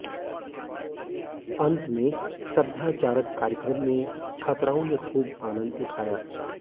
अंत में सभ्याचारक कार्यक्रम में छात्राओं ने खूब आनंद उठाया